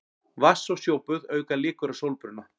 Vatns- og sjóböð auka líkur á sólbruna.